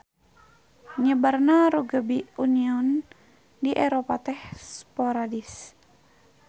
Nyebarna rugbi union di Eropa teh sporadis.